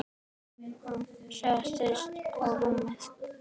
Hún settist á rúmið.